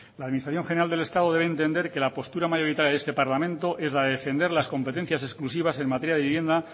la administración general del estado debe entender que la postura mayoritaria de este parlamento es la de defender las competencias exclusivas en materia de vivienda